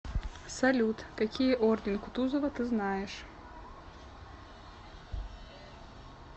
салют какие орден кутузова ты знаешь